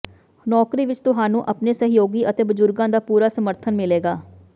ਨੌਕਰੀ ਵਿਚ ਤੁਹਾਨੂੰ ਆਪਣੇ ਸਹਿਯੋਗੀ ਅਤੇ ਬਜ਼ੁਰਗਾਂ ਦਾ ਪੂਰਾ ਸਮਰਥਨ ਮਿਲੇਗਾ